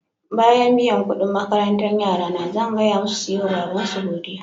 Bayan biyan kuɗin makarantan yara na, zan gaya musu su yi ma babansu godiya.